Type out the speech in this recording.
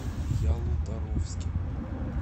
ялуторовске